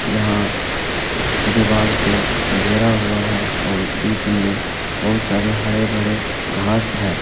यहां दीवार से घेरा हुआ है और बीच में बहुत सारे हरे भरे घास है।